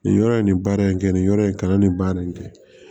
Nin yɔrɔ ye nin baara in kɛ nin yɔrɔ in kalannen ba de kɛ